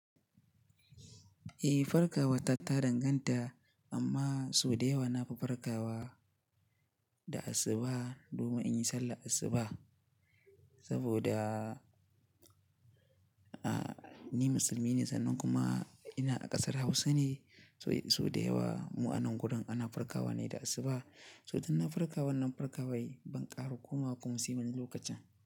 Eh, farkawa ta tadanganta amma sau da yawa na fi farkawa da asuba domin in yi sallah asuba. Saboda, ah, ni musulmi ne sannan kuma ina a ƙasar Hausa ne. So sau da yawa mu a nan gurin ana farkawa ne da asuba. So dan na farkawa wannan farkawai ban ƙara komawa kuma siyan lokacin.